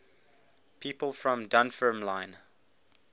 people from dunfermline